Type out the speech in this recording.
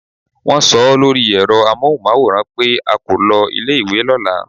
Wón so ó lórí èro amóhùnmáwòràn pé a kò lo ilé ìwé lóla